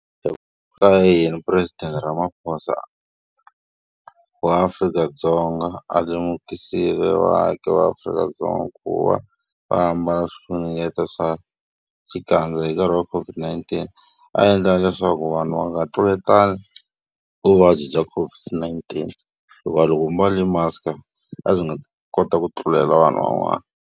Ka yini mupuresidente Ramaphosa wa Afrika-Dzonga a lemukisile vaaki va Afrika-Dzonga ku va va ambala swifunengeto swa xikandza hi nkarhi wa COVID-19? A endla leswaku vanhu va nga tluletani vuvabyi bya COVID-19 hikuva loko u mbale mask-a a byi nga ta kota ku tlulela vanhu van'wana.